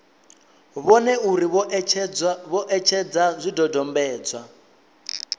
vhone uri vho etshedza zwidodombedzwa